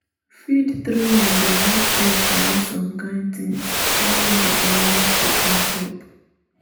feed training dey make fish know some kind things wey no be only to come chop